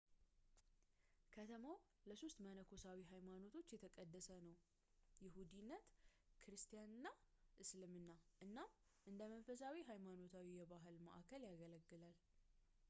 ከተማው ለሶስት መነኮሳዊ ሀይማኖቶች የተቀደሰ ነው ይሁዲነት ክርስቲያን እና እስልምና እናም እንደ መንፈሳዊ ሀይማኖታዊ እና ባህላዊ መዓከል ያገለግላል